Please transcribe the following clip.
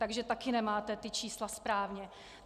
Takže taky nemáte ta čísla správně.